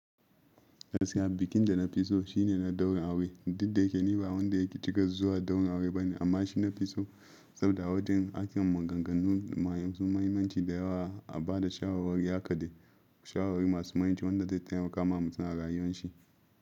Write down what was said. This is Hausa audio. Gaskiya bikin da na fi so shine na daurin aure. Didda yake ni ba wanda yake cika zuwa daurin aure bane amma shi na fi so saboda wajen ake maganganun masu muhimmanci da yawa a ba da shawarwari, haka dai shawarwari masu muhimmanci wanda zai taimaka wa mutum a rayuwar shi.